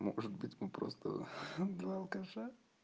может быть мы просто два алкаша